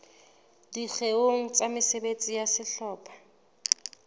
dikgeong tsa mesebetsi ya sehlopha